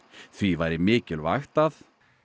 því væri mikilvægt að